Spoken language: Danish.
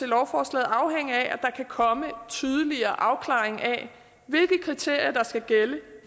lovforslaget afhænge af at der kan komme tydeligere afklaring af hvilke kriterier der skal gælde